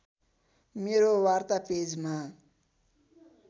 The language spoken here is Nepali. मेरो वार्ता पेजमा